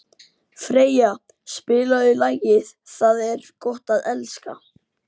Freyja, spilaðu lagið „Það er gott að elska“.